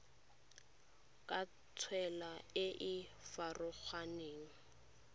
ka tsela e e farologaneng